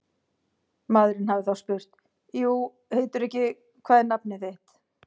Maðurinn hafi þá spurt: jú heitirðu ekki, hvað er nafnið þitt?